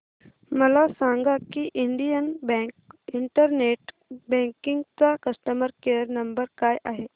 मला सांगा की इंडियन बँक इंटरनेट बँकिंग चा कस्टमर केयर नंबर काय आहे